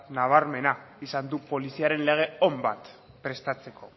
nabarmena izan du poliziaren lege on bat prestatzeko